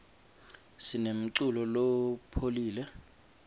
sinemculo lopholile